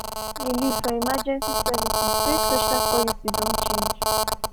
dem find relief for emergency services wey social policy don change.